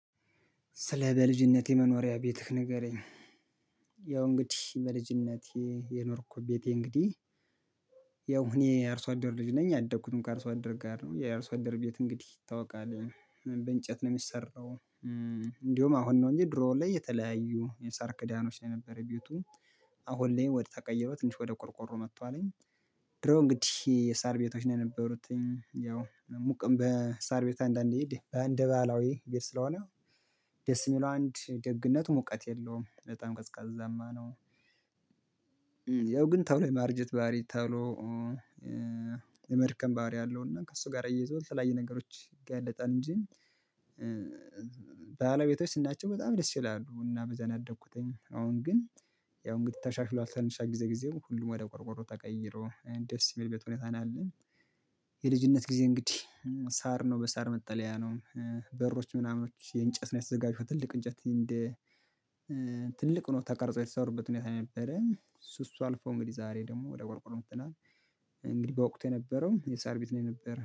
ስለ በልጅነቴ መኖሪያ ቤትህ ንገረኝ? ያው እንግዲህ በልጅነቴ የኖርኩ ቤቴ እንግዲህ ያው እኔ የአርሶአደር ልጅ ነኝ ያደኩትም ከአርሶአደር ጋር ነው የአርሶአደር ቤት እንግዲህ ይታወቃል በእንጨት ነው የሚሰራው። እንዲሁ አሁን ነው እንጂ ድሮ ላይ የተለያዩ የሳር ክዳኖች ነው የነበረ ቤቱ። አሁን ላይ ወደ ተቀይሮ ትንሽ ወደ ቆርቆሮ መቶልኝ። ድሮ እንግዲህ የሳር ቤቶች ነው የነበሩት። ያው ሙቅም በሳር ቤት አንዳንዴ እንዴ እንደ ባህላዊ ቤት ስለሆነ። ደስ የሚለው አንድ ደግነቱ ሙቀት የለውም በጣም ቀዝቃዛማ ነው። ያው ግን ተሎ የማርጀት ባህሪ ተሎ የመድከም ባህሪ አለው እና ከእሱ ጋር አያይዞ የተለያየ ነገሮች ይጋለጣል እንጂ። ባህላዊ ቤቶች ስናያቸው በጣም ደስ ይላሉ እና በዛ ነው ያደኩትኝ። አሁን ግን ያው እንግዲህ ተሻሽሎ አልተሻሽለም ጊዜ ጊዜው ሁሉም ወደ ቆርቆሮ ተቀይሮ ደስ የሚል ቤት ሁኔታ ነው። የልጅነት ጊዜ እንግዲህ ሳር ነው በሳር መጠለያ ነው። በሮች ምናምኖች የእንጨት ነው የተዘጋጁት ትልቅ እንጨት እንደ ትልቅ ሆኖ ተቀርጾ የተሰሩበት ሁኔታ ነው የነበረው። እሱ እሱ አልፎ እንግዲህ ዛሬ ደግሞ ወደ ቆርቆሮ መጥተናን። እንግዲህ በወቅቱ የነበረው የሳር ቤት ነው የነበር